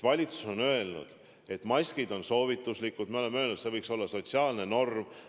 Valitsus on öelnud, et maskid on soovituslikud, me oleme öelnud, et see võiks olla sotsiaalne norm.